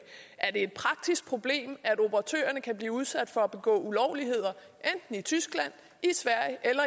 er det et praktisk problem at operatørerne kan blive udsat for at begå ulovligheder enten i tyskland i sverige eller